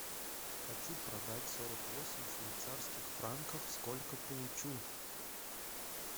хочу продать сорок восемь швейцарских франков сколько получу